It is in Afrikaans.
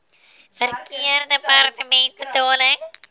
verkeersdepartementebetaling